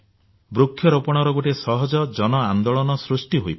ବୃକ୍ଷରୋପଣର ଗୋଟିଏ ସହଜ ଜନ ଆନ୍ଦୋଳନ ସୃଷ୍ଟି ହୋଇପାରେ